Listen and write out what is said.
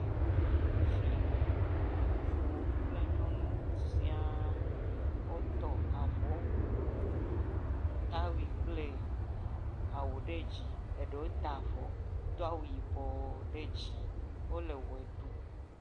Ŋutsuwo kple nyɔnuwo siaa wotɔ avɔwu, tawui kple awu ɖe dzi, ɖewo ta avɔ do awu yibɔ ɖe dzi, eɖewo ta avɔ, do awu yibɔɔ ɖe dzi, wole wɔe ɖu, wole efli me.